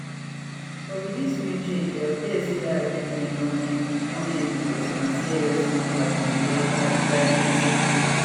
but wit dis new change e appear say dat arrangement don end don end bicos na tlscontact bin dey run dat enugu centre